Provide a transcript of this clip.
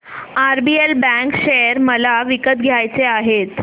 RBL bank share मला विकत घ्यायचे आहेत